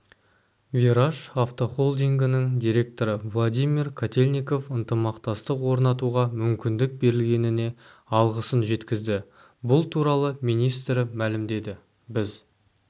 вираж автохолдингінің директоры владимир котельников ынтымақтастық орнатуға мүмкіндік берілгеніне алғысын жеткізді бұл туралы министрі мәлімдеді біз